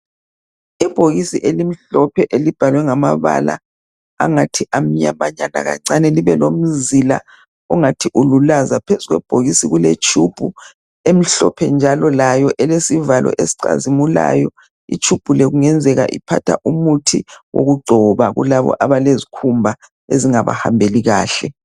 Ibhokisi elimhlophe elibhalwe ngamabala angathi amnyamanyana kancane. Libelomzila ongathi ululaza. Phezu kwebhokisi kuletshubhu emhlophe, njalo layo ilesivalo esicazimulayo. iltshubhu le kungenzeka ilomuthi wokugcoba. Kulabo abalezikhumba ezingabahambeli kahle.